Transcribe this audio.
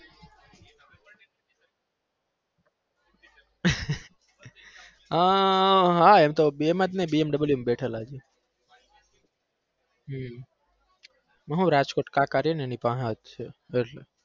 અમ હા એમ તો એમાં તો નઈ BMW માં બેઠેલા છીએ હમ એમાં હું રાજપૂત કાકા રહે ને એની પાહે જ છે.